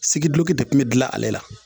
Sigi duloki de tun be dilan ale la.